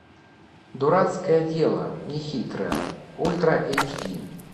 дурацкое дело нехитрое ультра эйч ди